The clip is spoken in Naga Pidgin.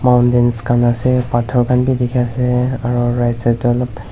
mountain khan ase pothor khan bhibdekhi ase aru right side tu olop--